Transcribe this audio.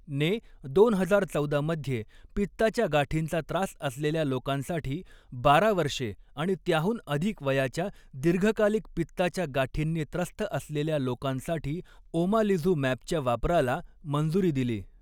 ने दोन हजार चौदा मध्ये, पित्ताच्या गाठींचा त्रास असलेल्या लोकांसाठी, बारा वर्षे आणि त्याहून अधिक वयाच्या दीर्घकालिक पित्ताच्या गाठींनी त्रस्त असलेल्या लोकांसाठी ओमालिझुमॅबच्या वापराला मंजूरी दिली.